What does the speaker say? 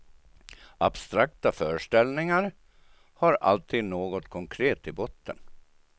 Abstrakta föreställningar har alltid något konkret i botten.